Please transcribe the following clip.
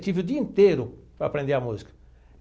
Tive o dia inteiro para aprender a música.